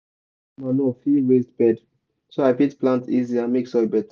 i dey use manure fill raised bed so i fit plant easy and make soil better.